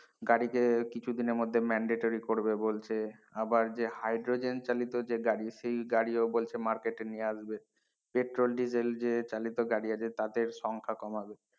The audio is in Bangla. গাড়িকে কিছু দিন এর মধ্যে mandatory পড়বে বলছে আবার যে হাইড্রোজেন চালিত যে গাড়ি সে গাড়িও বলছে market এ নিয়ে আসবে পেট্রোল ডিজেল যে চালিত গাড়ি আছে তাদের সংখ্যা কমাবে।